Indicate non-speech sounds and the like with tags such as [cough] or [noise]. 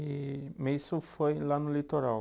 E [unintelligible] isso foi lá no litoral?